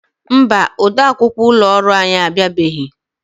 Mba, ode akwukwọ ụlọ ọrụ anyị abịabeghị.